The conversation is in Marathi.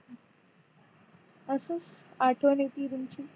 असच आठवण येतीय तुमची